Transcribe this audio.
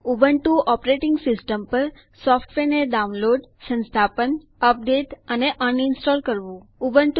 Ubuntu operating system પર સોફ્ટવેરને download સંસ્થાપન અપડેટ અને સોફ્ટવેર અનઇન્સ્ટોલ એટલે કે રદ કરવું